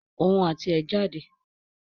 Òun àti ẹ̀ jáde